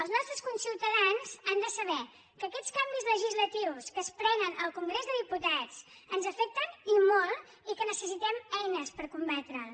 els nostres conciutadans han de saber que aquests canvis legislatius que es prenen al congrés dels diputats ens afecten i molt i que necessitem eines per combatre’ls